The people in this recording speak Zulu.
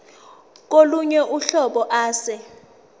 kolunye uhlobo ase